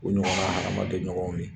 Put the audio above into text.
O ɲɔgɔnna amaden ɲɔgɔnw ye